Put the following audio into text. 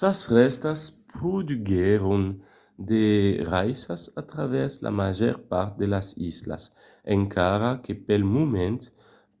sas rèstas produguèron de raissas a travèrs la màger part de las islas encara que pel moment